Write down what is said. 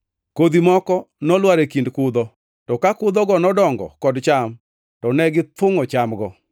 Kodhi moko nolwar e kind kudho, to ka kudhogo nodongo kod cham to ne githungʼo chamgo.